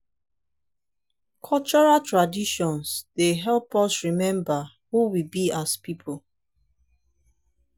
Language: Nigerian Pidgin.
cultural traditions dey help us remember who we be as a pipo.